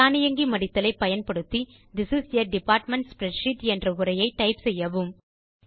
தானியங்கி மடித்தல் ஐ பயன்படுத்தி this is a department spreadsheet என்ற உரையை டைப் செய்யவும்